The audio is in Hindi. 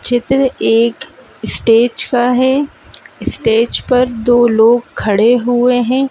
चित्र एक स्टेज का हैं स्टेज पर दो लोग खड़े हुए हैं।